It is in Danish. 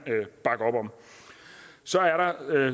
bakke op om så er der